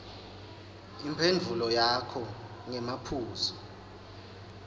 imphendvulo yakho ngemaphuzu